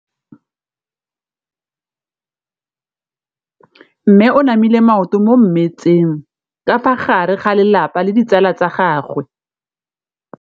Mme o namile maoto mo mmetseng ka fa gare ga lelapa le ditsala tsa gagwe.